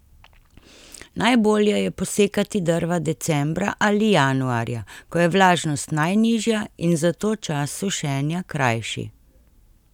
Najbolje je posekati drva decembra ali januarja, ko je vlažnost najnižja in zato čas sušenja krajši.